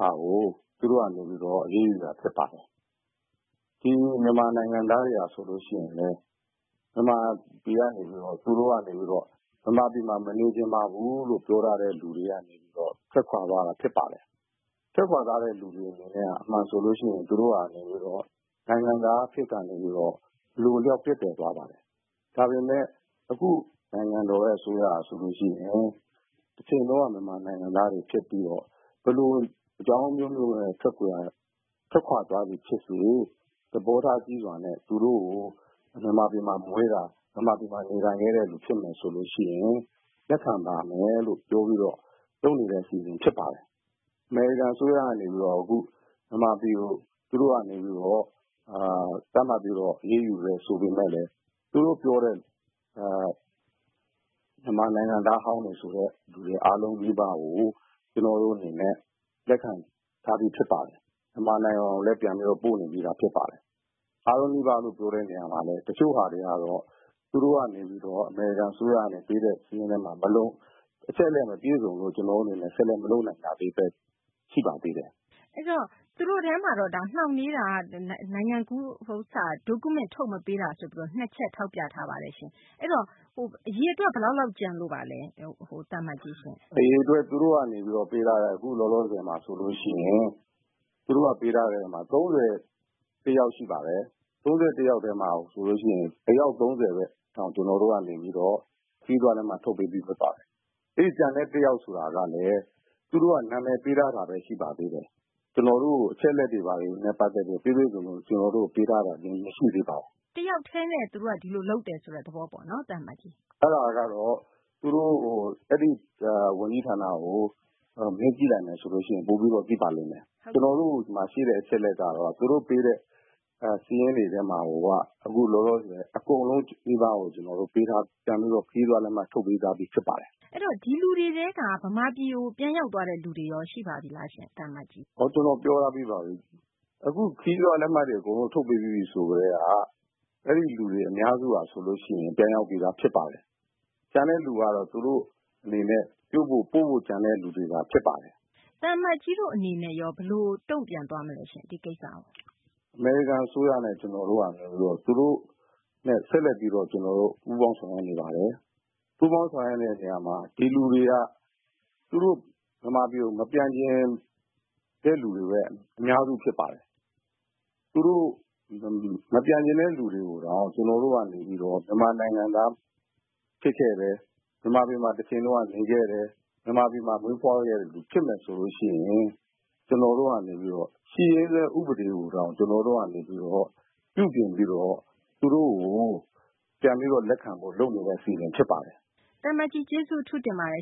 ကို သူတို့ကနေပြီးတော့ အရေးယူတာဖြစ်ပါတယ်။ ဒီမြန်မာနိုင်ငံသားတွေကဆိုရင် မြန်မာပြည်ကနေပြီးတော့ သူတို့ကနေပြီးတော့ ပြောထားတဲ့လူတွေက ထွက်ခွာသွားတာဖြစ်ပါတယ်။ ထွက်ခွာတဲ့လူတွေက အမှန်ဆိုရင် သူတို့ကနေပြီးတော့ နိုင်ငံသားအဖြစ်ကနေ အလိုအလျောက်ပျက်ပြယ်သွားပါတယ်။ ဒါပေမယ့် အခုနိုင်ငံတော်အစိုးရကဆိုရင် တချိန်တုန်းက မြန်မာနိုင်ငံသားတွေဖြစ်ပြီးတော့ ဘယ်လိုအကြောင်းအမျိုးမျိုးနဲ့ ထွက်ခွာသွားသည်ဖြစ်စေ သဘောထားကြီးစွာနဲ့ သူတို့ကို မြန်မာပြည်မှာမွေးတာ မြန်မာပြည်မှာ နေလာတဲ့လူဖြစ်မယ်ဆိုရင် လက်ခံပါမယ်ဆိုတာပြောပြီးတော့ လုပ်နေတဲ့အစီအစဉ်ဖြစ်ပါတယ်။ အမေရိကန်အစိုးရကနေပြီးတော့ အခုမြန်မာပြည်ကို သူတို့ကနေပြီးတော့ သတ်မှတ်ပြီးတော့ အရေးယူတယ်ဆိုပေမယ့်လည်း သူတို့ပြောတဲ့ မြန်မာနိုင်ငံသားဟောင်းတွေဆိုတဲ့လူတွေအားလုံးနီးပါးကို ကျနော်တို့အနေနဲ့ လက်ခံထားပြီးသားဖြစ်ပါတယ်။ မြန်မာနိုင်ငံကိုလည်း ပြန်ပြီးတော့ ပို့နေပြီးသားဖြစ်ပါတယ်။ အားလုံးနီးပါးလို့ ပြောတဲ့နေရာမှာလည်း တချို့ဟာတွေကတော့ သူတို့ကနေပြီးတော့ အမေရိကန်အစိုးရကနေ ပေးတဲ့ စာရင်းမို့လို့ အချက်အလက်မပြည့်စုံဘူးဆိုပြီးတော့မလုပ်နိုင်တာပဲ ရှိပါသေးတယ်။ မသိင်္ဂ ီထိုက်။ ။ အဲဒီတော့ သူတို့ထဲမှာက နှောင့်နှေးတာက နိုင်ငံကူး Document ထုတ်မပေးတာဆိုပြီးတော့ အဲဒီ ၂ ချက်ထောက်ပြထားတာရှိပါတယ်။ အဲဒီတော့ အရေအတွက် ဘယ်လောက်လောက်ကျန်လို့ပါလဲ။ ဦးအောင်လင်း။ ။သူတို့ကနေ ပေးထားတဲ့ အခုလောလောဆည်မှာဆိုရင် သူတို့ကပေးထားတာ ၃၁ ယောက်ရှိပါတယ်။ အဲဒီ ၃၁ ယောက်မှာဆိုရင် အယောက် ၃၀ ပဲ ကျနော်တို့ကနေပြီးတော့ ခရီးသွားလက်မှတ်ထုတ်ပေးပြီးသားဖြစ်ပါတယ်။ အဲဒီကျန်တဲ့ ၁ ယောက်ဆိုတာကလည်း သူတို့က နာမည်ပေးထားတာပဲ ရှိပါသေးတယ်။ ကျနော်တို့ကို အချက်အလက်တွေနဲ့ပတ်သက်ပြီးတော့ ပြည့်ပြည့်စုံစုံ ပေးတာမရှိပါဘူး။ မသိင်္ဂ ီထိုက်။ ။တယောက်တည်းနဲ့ သူတို့က ဒီလိုလုပ်တယ်ဆိုတဲ့သဘောပေါ့နော်။ ဦးအောင်လင်း။ ။အဲဒါကတော့ သူတို့ အဲဒီဝန်ကြီးဌာနကို မေးကြည့်မယ်ဆိုရင် ပိုပြီးတော့ ကောင်းပါလိမ့်မယ် ။ ကျနော်တို့ ဒီမှာရှိတဲ့အချက်အလက်ကတော့ သူတို့ပေးတဲ့ စာရင်းတွေထဲမှာကို အခုလောလောဆည်အကုန်လုံးနီးပါးကို သူတို့ ခရီးသွားလက်မှတ်ထုတ်ပေးပြီးသားဖြစ်ပါတယ်။ မသိင်္ဂ ီထိုက်။ ။ အဲဒီတော့ ဒီလူတွေထဲက မြန်မာပြည်ကို ပြန်ရောက်သွားတဲ့လူ ရှိပါပြီလား။ ဦးအောင်လင်း။ ။ခရီးသွားလက်မှတ်ထုတ်ပေးပြီးပြီ ဆိုကတည်းက အဲဒီလူတွေအများစုက ပြန်ရောက်ပြီးသားဖြစ်ပါတယ်။ကျန်တဲ့လူကတော့ သူတို့အနေနဲ့ ပို့ဖို့ ကျန်တဲ့လူတွေသာဖြစ်ပါတယ်။ မသိင်္ဂ ီထိုက်။ ။သံအမတ်ကြီးတို့အနေနဲ့ရော ဘယ်လိုတုံ့ပြန်သွားမလဲ ဒီကိစ္စကို ဦးအောင်လင်း။ ။အမေရိကန်အစိုးရနဲ့ ကျနော်တို့က သူတို့နဲ့ ဆက်လက်ပြီးတော့ ပူးပေါင်းဆောင်ရွက်နေပါတယ်။ ပူးပေါင်းဆောင်ရွက်နေတဲ့နေရာမှာ ဒီလူတွေက သူတို့ မြန်မာပြည်ကို မပြန်ချင်တဲ့လူတွေပဲ အများစုဖြစ်ပါတယ်။ မပြန်ချင်တဲ့လူတွေကိုတောင် ကျနော်တို့ကနေပြီးတော့ မြန်မာနိုင်ငံသားဖြစ်ခဲ့တယ် မြန်မာပြည်မှာ တချိန်က နေခဲ့တယ် ၊ မြန်မာပြည်မှာ မွေးဖွားခဲ့တဲ့လူတွေဖြစ်မယ်ဆိုရင် ကျနော်တို့ကနေပြီးတော့ ရှိရင်းစွဲဥပဒေကိုတောင် ကျနော်တို့ကနေပြီးတော့ ပြုပြင်ပြီးတော့ ကျနော်တို့ပြန်ပြီးတော့ လက်ခံဖို့လုပ်နေတဲ့အစီအစဉ်ဖြစ်ပါတယ်။ မသိင်္ဂ ီထိုက်။ ။သံအမတ်ကြီးအထူးကျေးဇူးတင်ပါတယ်